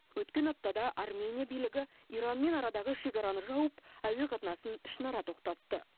өткен аптада армения билігі иранмен арадағы шекараны жауып әуе қатынасын ішінара тоқтатты